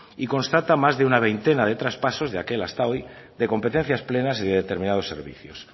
y constata más de una veintena de traspasos de aquel hasta hoy de competencias plenas y de determinados servicios